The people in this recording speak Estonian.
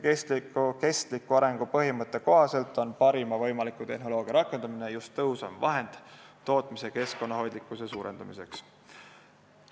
Kestliku arengu põhimõtte kohaselt on parima võimaliku tehnoloogia rakendamine tõhusam vahend tootmise keskkonnahoidlikkuse suurendamiseks.